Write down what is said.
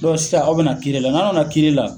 Dɔn sisa aw be na kiri la naw nana kiri la